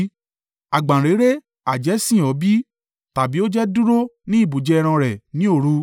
“Àgbáǹréré ha jẹ́ sìn ọ́ bí? Tàbí ó jẹ́ dúró ní ibùjẹ ẹran rẹ ní òru?